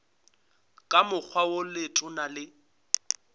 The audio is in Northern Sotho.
ka mokgwa wo letona le